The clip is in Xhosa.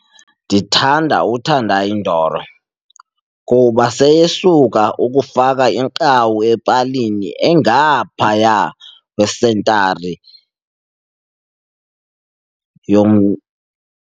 Ndithanda uTendai Ndoro kuba seyesuka ukufaka inqaku epalini engaphaya kwesentari .